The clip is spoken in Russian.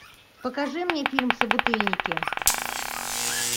покажи мне фильм собутыльники